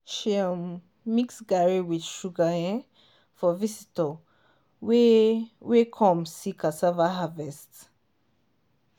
she um mix garri with sugar um for visitor wey wey come see cassava harvest.